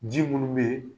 Ji munnu be yen